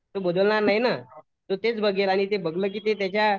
तो बदलणार नाही ना तो तेच बघेल आणि ते बघलं की त्याच्या